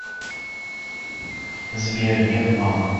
сбер нет мам